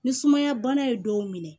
Ni sumaya bana ye dɔw minɛ